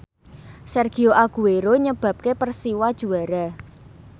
Sergio Aguero nyebabke Persiwa juara